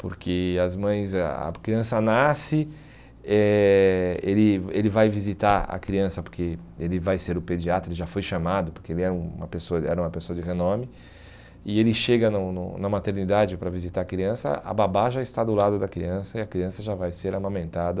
Porque as mães eh a criança nasce, eh ele ele vai visitar a criança, porque ele vai ser o pediatra, ele já foi chamado, porque ele era um pes ele era uma pessoa de renome, e ele chega no no na maternidade para visitar a criança, a babá já está do lado da criança e a criança já vai ser amamentada